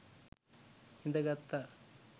හිඳ ගත්තා.